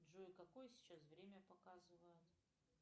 джой какое сейчас время показывают